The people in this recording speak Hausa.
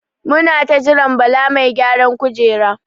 Muna ta jiran Bala mai gyaran kujera.